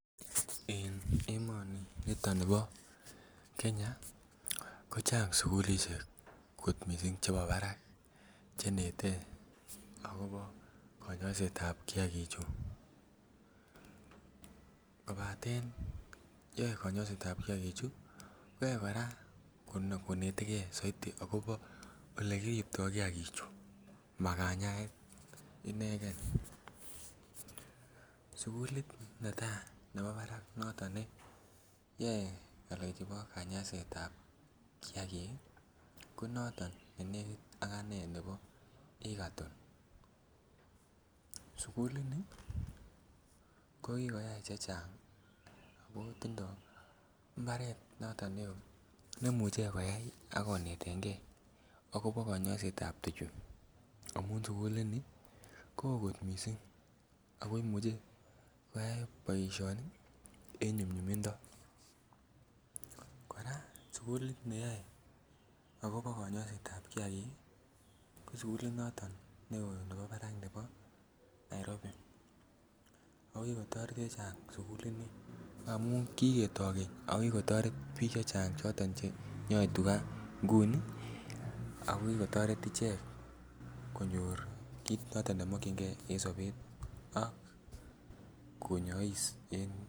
En emoni niton nebo Kenya kochang' sukulishek kot missing' chebo barak che nete akobo konyoisetab kiagichu kobaten yoe konyoisetab kiagichu koyoe koraa konetege soiti akobo ole kiripto kiagichu ma kanyaet inegen. Sukulit netaa nebo barak noton ne yoe ngalechu bo kanyaisetab kiagik ii ko noton ne nekit aganee nebo Egerton. Sukulini ko kikoyay chechang' ako tindo mbaret noton ne oo nemuche koyay ako netege akobo konyoisetab tuchu amun sukulini ko oo kot missing' ako imuche koyay boishoni en nyumnyumndo. Koraa sukulit neyoe akobo konyoisetab kiagik ko sukulit noton ne oo nebo barak nebo Nairobi. Ako kigotoret chechang' sukulini amun kigetoo keny ako kikotoret biik chechang' choton che nyoe tuga ngunii akoi kikotoret ichek konyor kit noton ne mokyingee en sobet ak konyois en.